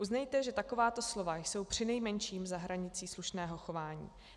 Uznejte, že takováto slova jsou přinejmenším za hranicí slušného chování.